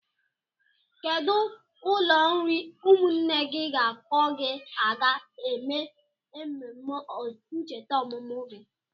Kedụ ụlọ nri ụmụnne gị ga-akpọ gị aga eme emume ncheta ọmụmụ gị?